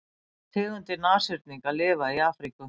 tvær tegundir nashyrninga lifa í afríku